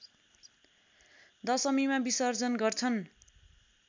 दशमीमा विसर्जन गर्छन्